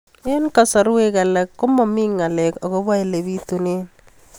Eng' kasarwek alak ko mami ng'alek akopo ole pitunee